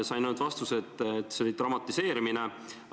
Sain ainult teada, et see oli dramatiseerimine.